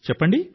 చెప్పండి